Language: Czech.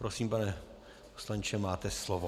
Prosím, pane poslanče, máte slovo.